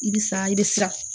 I bi siran i bɛ siran